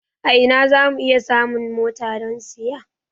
A ina za mu iya samun mota don saya?